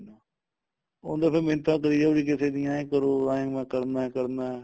ਉਹ ਤਾਂ ਫੇਰ ਮਿੰਨਤਾ ਕਰੀ ਜਾਉ ਕਿਸੇ ਦੀਆਂ ਇਹ ਕਰੋ ਏ ਮੈਂ ਕਰਨਾ ਕਰਨਾ